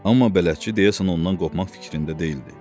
Amma bələdçi deyəsən ondan qopmaq fikrində deyildi.